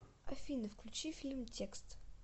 афина включи фильм текст